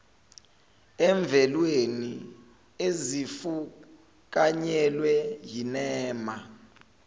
emvelweni ezifukanyelwe yinema